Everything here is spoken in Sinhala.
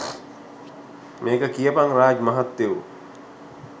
මේක කියපං රාජ් මහත්තයෝ